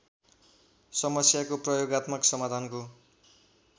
समस्याको प्रयोगात्मक समाधानको